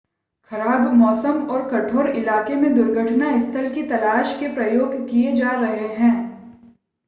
खराब मौसम और कठोर इलाकेे में दुर्घटना स्थल की तलाश के प्रयास किए जा रहे हैं